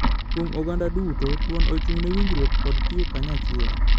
Kuom oganda duto, thuon ochung'ne winjruok kod tiyo kanyachiel.